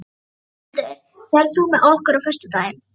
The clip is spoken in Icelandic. Svanhildur, ferð þú með okkur á föstudaginn?